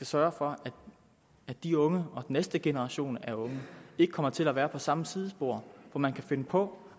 sørge for at de unge og den næste generation af unge ikke kommer til at være på samme sidespor hvor man kan finde på